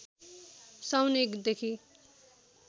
साउन १ देखि